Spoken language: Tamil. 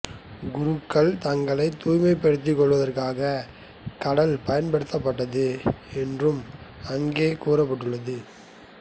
குருக்கள் தங்களைத் தூய்மைப்படுத்திக் கொள்வதற்காகக் கடல் பயன்படுத்தப்பட்டது என்றும் அங்கே கூறப்பட்டுள்ளது